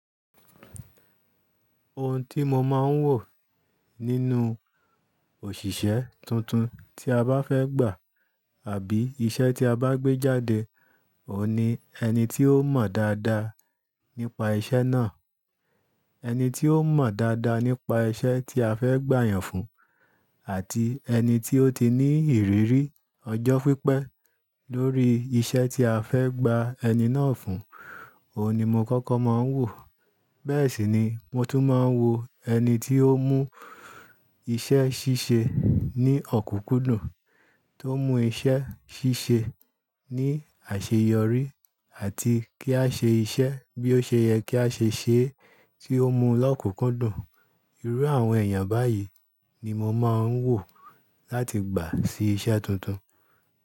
Ohun tí mo máa ń wò nínú òṣìṣẹ́ tuntun tí a bá fẹ́ gbà àbí iṣẹ́ tí a bá gbé jáde, òun ni ẹni tí ó mọ̀ dáadáa nípa iṣẹ́ náà. Ẹni tí ó mọ̀ dáadáa nípa iṣẹ́ tí a fẹ́ gbà'yàn fún àti ẹni tí ó ti ní ìrírí ọjọ́ pípẹ́ lórí iṣẹ́ tí a fẹ́ gbà ẹni náà fún, òun ni mo kọ́kọ́ máa ń wò. Bẹ́ẹ̀ sì ni mo tún máa ń wo ẹni tí ó mú iṣẹ́ ṣíṣe ní ọ̀kùkúndùn, tó mú iṣẹ́ ṣíṣe ní àṣeyọrí àti kí a ṣe iṣẹ́ bí ó ṣe yẹ kí a ṣe ṣe é tí ó mú lọ́kùkúndùn. Irú àwọn èèyàn báyìí ni mo máa ń wò láti gbà sí iṣẹ́ tuntun.